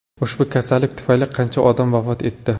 Ushbu kasallik tufayli qancha odam vafot etdi?